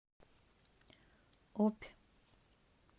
обь